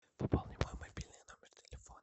пополни мой мобильный номер телефона